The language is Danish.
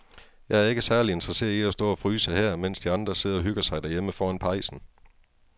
Jeg er ikke særlig interesseret i at stå og fryse her, mens de andre sidder og hygger sig derhjemme foran pejsen.